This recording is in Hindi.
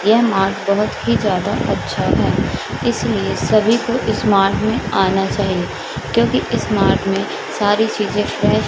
यह मार्ट बहोत ही ज्यादा अच्छा है इसलिए सभी को इस मार्ट में आना चाहिए क्योंकि इस मार्ट में सारी चीजें कै--